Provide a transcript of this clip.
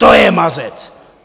To je mazec.